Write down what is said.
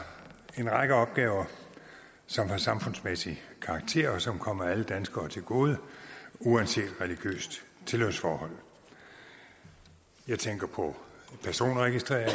en række opgaver som har samfundsmæssig karakter og som kommer alle danskere til gode uanset religiøst tilhørsforhold jeg tænker på personregistrering